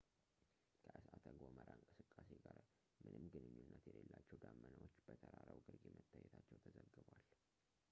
ከእሳተ-ገሞራ እንቅስቃሴ ጋር ምንም ግንኙነት የሌላቸው ደመናዎች በተራራው ግርጌ መታየታቸው ተዘግቧል